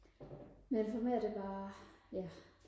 nej for mig er det bare ja